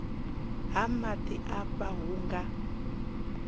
ha maḓi afha hu nga